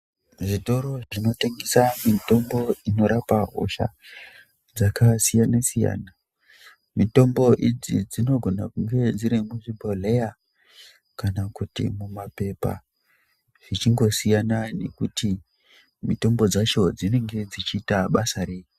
Muzvitoro zvinotengesa mitombo inorapa hosha dzakasiyana siyana. Mitombo idzi dzinogona kunge dziri muzvibhodhleya kana kuti mumapepa zvichingosiyana ngekuti mitombo dzacho dzinenge dzichiita basa rei.